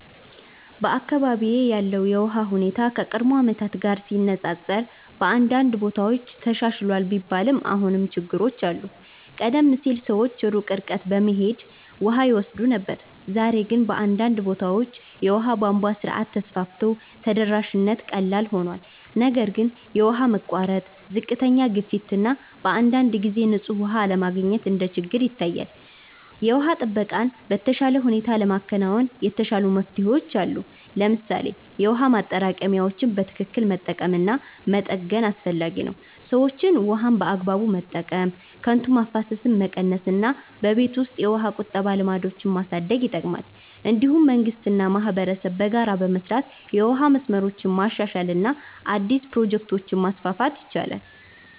በአካባቢዬ ያለው የውሃ ሁኔታ ከቀድሞ ዓመታት ጋር ሲነፃፀር በአንዳንድ ቦታዎች ተሻሽሏል ቢባልም አሁንም ችግሮች አሉ። ቀደም ሲል ሰዎች ሩቅ ርቀት በመሄድ ውሃ ይወስዱ ነበር፣ ዛሬ ግን በአንዳንድ ቦታዎች የውሃ ቧንቧ ስርዓት ተስፋፍቶ ተደራሽነት ቀላል ሆኗል። ነገር ግን የውሃ መቋረጥ፣ ዝቅተኛ ግፊት እና በአንዳንድ ጊዜ ንጹህ ውሃ አለመገኘት እንደ ችግር ይታያል። የውሃ ጥበቃን በተሻለ ሁኔታ ለማከናወን የተሻሉ መፍትሄዎች አሉ። ለምሳሌ የውሃ ማጠራቀሚያዎችን በትክክል መጠቀም እና መጠገን አስፈላጊ ነው። ሰዎችም ውሃን በአግባቡ መጠቀም፣ ከንቱ ማፍሰስን መቀነስ እና በቤት ውስጥ የውሃ ቁጠባ ልምዶችን ማሳደግ ይጠቅማል። እንዲሁም መንግስት እና ማህበረሰብ በጋራ በመስራት የውሃ መስመሮችን ማሻሻል እና አዲስ ፕሮጀክቶችን ማስፋፋት ይችላሉ።